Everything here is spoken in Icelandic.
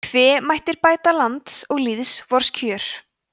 hve mætti bæta lands og lýðs vors kjör